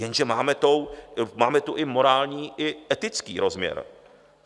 Jenže máme tu i morální, i etický rozměr.